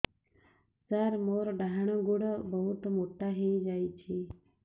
ସାର ମୋର ଡାହାଣ ଗୋଡୋ ବହୁତ ମୋଟା ହେଇଯାଇଛି